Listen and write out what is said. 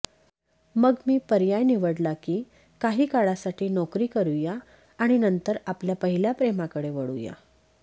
मग मी पर्याय निवडला की काही काळासाठी नोकरी करुया आणि नंतर आपल्या पहिल्या प्रेमाकडे वळूया